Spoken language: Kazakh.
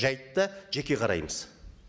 жайтта жеке қараймыз